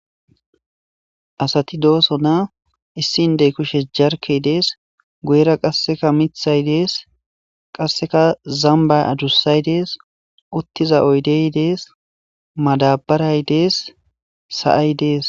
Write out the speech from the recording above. asati dooso na issindey kushes jarkey dees guyera qasseka mithay dees qasseka zamba adussay dees uttiza oydey dees madabaray dees sa7ay dees